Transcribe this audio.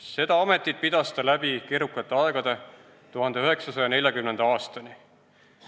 Seda ametit pidas ta läbi keerukate aegade 1940. aastani.